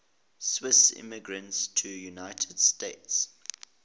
swiss immigrants to the united states